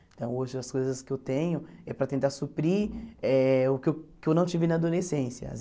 Então, hoje, as coisas que eu tenho é para tentar suprir eh o que eu que eu não tive na adolescência.